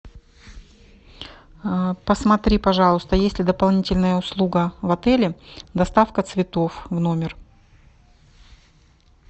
посмотри пожалуйста есть ли дополнительная услуга в отеле доставка цветов в номер